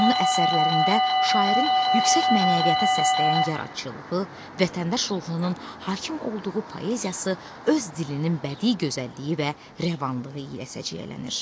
Onun əsərlərində şairin yüksək mənəviyyata səsləyən yaradıcılığı, vətəndaş ruhunun hakim olduğu poeziyası öz dilinin bədii gözəlliyi və rəvanlığı ilə səciyyələnir.